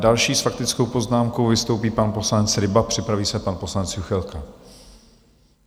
Další s faktickou poznámkou vystoupí pan poslanec Ryba, připraví se pan poslanec Juchelka.